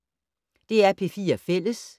DR P4 Fælles